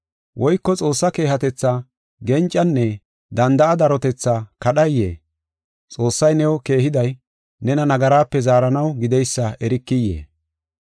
Woyko Xoossaa keehatetha, gencanne danda7a darotethaa kadhayee? Xoossay new keehiday nena nagaraape zaaranaw gideysa erikiyee?